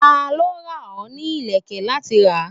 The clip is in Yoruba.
Ta ló rán ọ ní ilẹ̀kè láti rà?